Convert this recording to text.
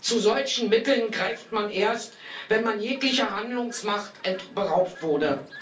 Zu solchen Mitteln greift man erst, wenn man jeglicher Handlungsmacht beraubt wurde.